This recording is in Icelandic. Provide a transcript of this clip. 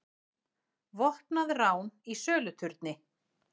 Vopnað rán í söluturni